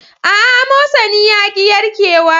Aa, amosani yaƙi yarke wa ne